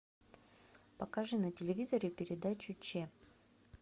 покажи на телевизоре передачу ч